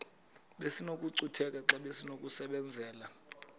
besinokucutheka xa besinokubenzela